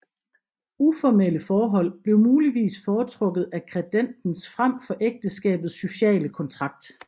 Uformelle forhold blev muligvis foretrukket af credentes frem for ægteskabets sociale kontrakt